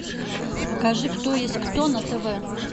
покажи кто есть кто на тв